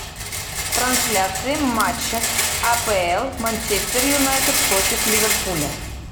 трансляция матча апл манчестер юнайтед против ливерпуля